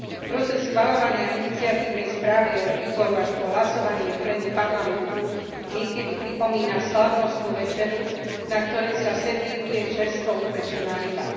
Proces schvaľovania iniciatívnej správy od výboru až po hlasovanie v pléne Parlamentu niekedy pripomína slávnostnú večeru, na ktorej sa servíruje čerstvo upečená ryba.